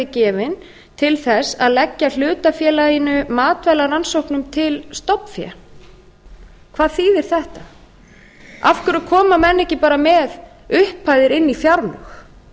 gefin til þess að leggja hlutafélaginu matvælarannsóknum til stofnfé hvað þýðir þetta af hverju koma menn ekki bara með upphæðir inn í fjárlög